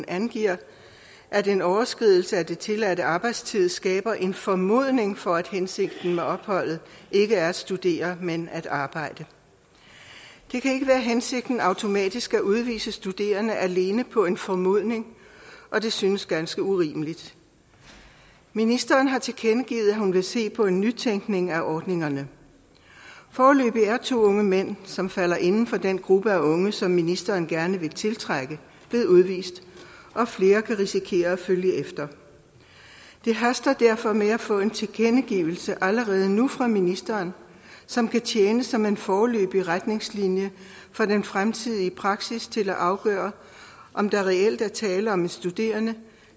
angiver at en overskridelse af den tilladte arbejdstid skaber en formodning for at hensigten med opholdet ikke er at studere men at arbejde det kan ikke være hensigten automatisk at udvise studerende alene på en formodning og det synes ganske urimeligt ministeren har tilkendegivet at hun vil se på en nytænkning af ordningerne foreløbig er to unge mænd som falder inden for den gruppe af unge som ministeren gerne vil tiltrække blevet udvist og flere kan risikere at følge efter det haster derfor med at få en tilkendegivelse fra ministeren som kan tjene som en foreløbig retningslinje for den fremtidige praksis til at afgøre om der reelt er tale om en studerende